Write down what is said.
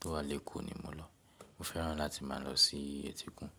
tó wà lékò ni mo lọ. Mo fẹ́ràn láti má a lọ sí etí òkun.